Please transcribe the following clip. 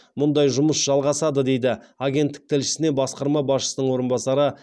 мұндай жұмыс жалғасады дейді агенттік тілшісіне басқарма басшысының орынбасары